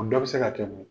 O dɔ bi se ka kɛ mun ye